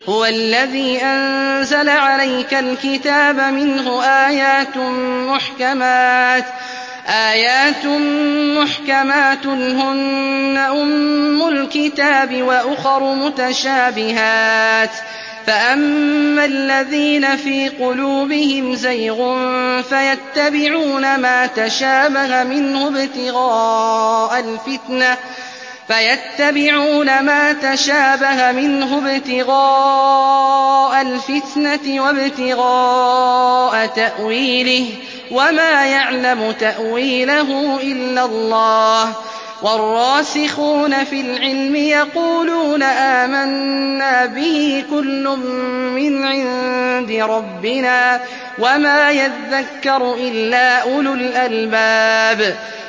هُوَ الَّذِي أَنزَلَ عَلَيْكَ الْكِتَابَ مِنْهُ آيَاتٌ مُّحْكَمَاتٌ هُنَّ أُمُّ الْكِتَابِ وَأُخَرُ مُتَشَابِهَاتٌ ۖ فَأَمَّا الَّذِينَ فِي قُلُوبِهِمْ زَيْغٌ فَيَتَّبِعُونَ مَا تَشَابَهَ مِنْهُ ابْتِغَاءَ الْفِتْنَةِ وَابْتِغَاءَ تَأْوِيلِهِ ۗ وَمَا يَعْلَمُ تَأْوِيلَهُ إِلَّا اللَّهُ ۗ وَالرَّاسِخُونَ فِي الْعِلْمِ يَقُولُونَ آمَنَّا بِهِ كُلٌّ مِّنْ عِندِ رَبِّنَا ۗ وَمَا يَذَّكَّرُ إِلَّا أُولُو الْأَلْبَابِ